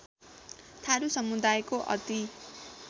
थारु समुदायको अति